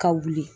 Ka wuli